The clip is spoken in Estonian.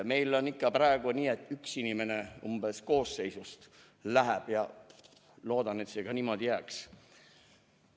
Meil on praegu nii, et umbes üks inimene koosseisust läheb, ja ma loodan, et see.